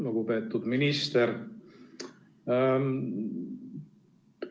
Lugupeetud minister!